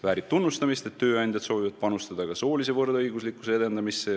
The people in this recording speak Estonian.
Väärib tunnustamist, et tööandjad soovivad panustada ka soolise võrdõiguslikkuse edendamisse.